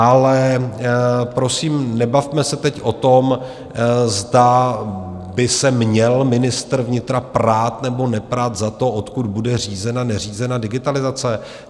Ale prosím, nebavme se teď o tom, zda by se měl ministr vnitra prát nebo neprat za to, odkud bude řízena, neřízena digitalizace.